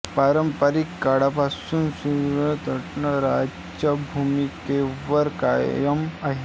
पारंपारिक काळापासून स्वित्झर्लंड तटस्थ राहण्याच्या भूमिकेवर कायम आहे